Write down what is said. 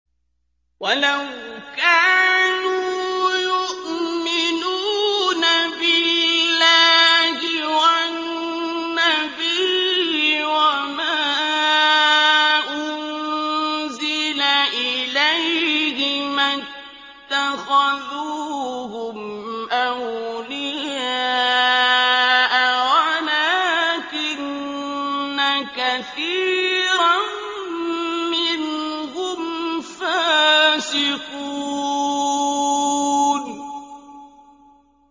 وَلَوْ كَانُوا يُؤْمِنُونَ بِاللَّهِ وَالنَّبِيِّ وَمَا أُنزِلَ إِلَيْهِ مَا اتَّخَذُوهُمْ أَوْلِيَاءَ وَلَٰكِنَّ كَثِيرًا مِّنْهُمْ فَاسِقُونَ